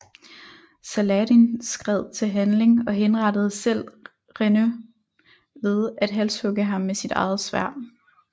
Saladin skred til handling og henrettede selv Renaud ved at halshugge ham med sit eget sværd